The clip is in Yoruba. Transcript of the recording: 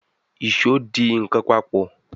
Ìṣó dì nkán papọ̀.